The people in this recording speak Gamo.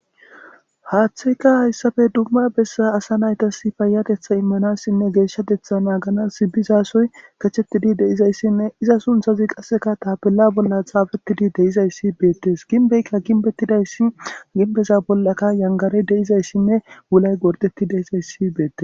Haaththeyka hayssafe dumma bessa asa naytas payatetha immanassinne geeshshatetha naaganas sibbizasoy kachettidi deizayssinne iza sunthazi qasseka tapella bolla xaafettidi deizayssi beettes ginbeykka ginbettidayssi ginbeza bollaka yangare deizayssinne wulay gordetti deizayssi beettes.